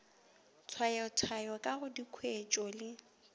tshwayatshwayo ka ga dikhwetšo le